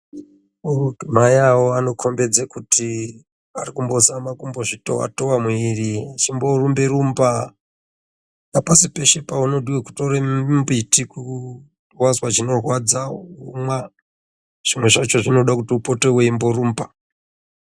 Maiawo vanokombidze kuti varikuzama kumbozvitova tova mwiri vachimborumba rumba hapasi peshe paunodiwa kutora mbiti wazwa chinorwadza womwa zvimweni zvacho zvoda upote weimborumba.